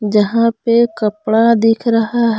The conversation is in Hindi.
जहां पे कपड़ा दिख रहा--